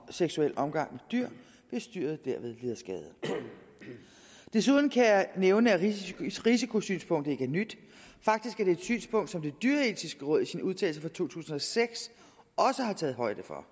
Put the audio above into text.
seksuel omgang med dyr hvis dyret derved lider skade desuden kan jeg nævne at risikosynspunktet ikke er nyt faktisk er det et synspunkt som det dyreetiske råd i sin udtalelse fra to tusind og seks også har taget højde for